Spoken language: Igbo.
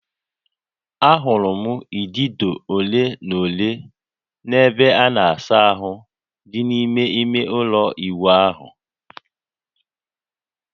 Ahụrụ m idido ole na ole n'ebe a na-asa ahụ dị n'ime ime ụlọ ịwụ ahụ